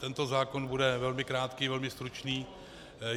Tento zákon bude velmi krátký, velmi stručný.